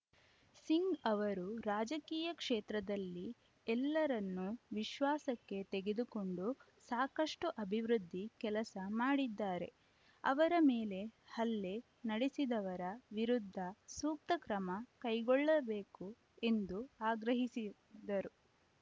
ಸಿಂಗ್‌ ಅವರು ರಾಜಕೀಯ ಕ್ಷೇತ್ರದಲ್ಲಿ ಎಲ್ಲರನ್ನೂ ವಿಶ್ವಾಸಕ್ಕೆ ತೆಗೆದುಕೊಂಡು ಸಾಕಷ್ಟುಅಭಿವೃದ್ಧಿ ಕೆಲಸ ಮಾಡಿದ್ದಾರೆ ಅವರ ಮೇಲೆ ಹಲ್ಲೆ ನಡೆಸಿದವರ ವಿರುದ್ಧ ಸೂಕ್ತ ಕ್ರಮ ಕೈಗೊಳ್ಳಬೇಕು ಎಂದು ಆಗ್ರಹಿ ಸಿ ದರು